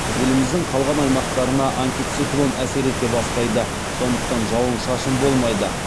еліміздің қалған аймақтарына антициклон әсер ете бастайды сондықтан жауын шашын болмайды